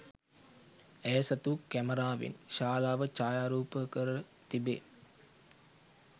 ඇය සතු කැමරාවෙන් ශාලාව ඡායාරූපකර තිබේ